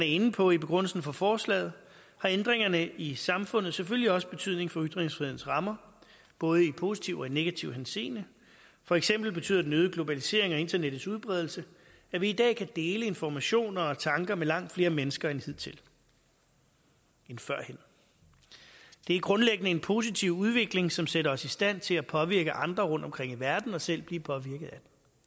inde på i begrundelsen for forslaget har ændringerne i samfundet selvfølgelig også betydning for ytringsfrihedens rammer både i positiv og negativ henseende for eksempel betyder den øgede globalisering og internettets udbredelse at vi i dag kan dele informationer og tanker med langt flere mennesker end førhen det er grundlæggende en positiv udvikling som sætter os i stand til at påvirke andre rundtomkring i verden og selv at blive påvirket af